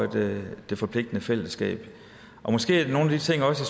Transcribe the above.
det det forpligtende fællesskab måske er nogle af de ting også